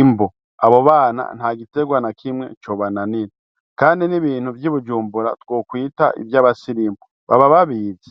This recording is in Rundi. imbo abo bana nta gitegwa na kimwe cobananira, kandi n'ibintu vy'i bujumbura twokwita ivyabasirimu baba babivi.